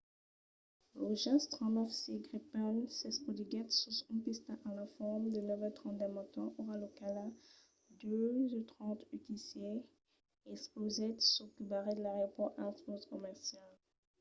lo jas 39c gripen s'espotiguèt sus una pista a l'entorn de 9:30 del matin ora locala 02:30 utc e explosèt çò que barrèt l'aeropòrt als vòls comercials